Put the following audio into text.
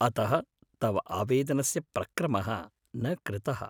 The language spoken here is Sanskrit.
अतः तव आवेदनस्य प्रक्रमः न कृतः।